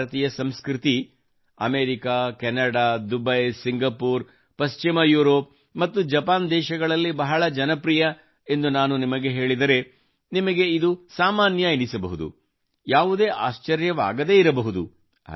ಭಾರತೀಯ ಸಂಸ್ಕೃತಿಯು America Canada Dubai Singapore ಪಶ್ಚಿಮ ಯೂರೋಪ್ ಮತ್ತು ಜಪಾನ್ ದೇಶಗಳಲ್ಲಿ ಬಹಳ ಜನಪ್ರಿಯವಾಗಿದೆ ಎಂದು ನಾನು ನಿಮಗೆ ಹೇಳಿದರೆ ನಿಮಗೆ ಇದು ಸಾಮಾನ್ಯ ಎನಿಸಬಹುದು ಯಾವುದೇ ಆಶ್ಚರ್ಯವಾಗದೇ ಇರಬಹುದು